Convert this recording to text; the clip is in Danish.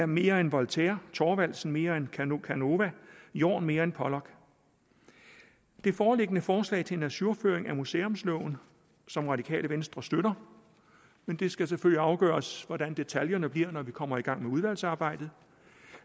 mere end voltaire thorvaldsen mere end canova canova jorn mere end pollock det foreliggende forslag til en ajourføring af museumsloven som radikale venstre støtter men det skal selvfølgelig afgøres hvordan detaljerne bliver når vi kommer i gang med udvalgsarbejdet